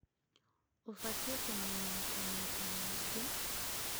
ũbatiĩ kũmenya atĩ maĩta maingĩ